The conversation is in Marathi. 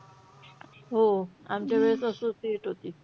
हो, आमचा वेळेस associate होती.